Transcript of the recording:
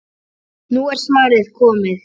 Nú er svarið komið.